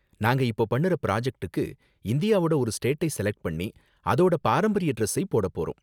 நாங்க இப்போ பண்ணுற ப்ராஜக்ட்டுக்கு, இந்தியாவோட ஒரு ஸ்டேட்டை செலக்ட் பண்ணி அதோட பாரம்பரிய டிரஸ்ஸை போடப் போறோம்.